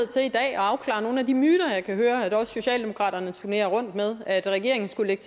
er nogle af de myter jeg kan høre at også socialdemokratiet turnerer rundt med blandt at regeringen skulle lægge